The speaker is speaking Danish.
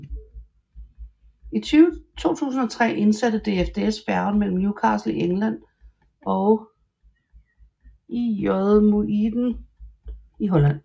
I 2003 indsatte DFDS færgen mellem Newcastle i England og IJmuiden i Holland